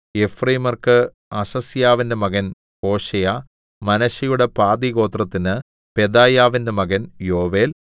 എഫ്രയീമ്യർക്ക് അസസ്യാവിന്റെ മകൻ ഹോശേയ മനശ്ശെയുടെ പാതിഗോത്രത്തിന് പെദായാവിന്റെ മകൻ യോവേൽ